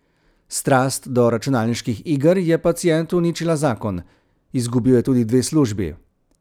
Strast do računalniških iger je pacientu uničila zakon, izgubil je tudi dve službi.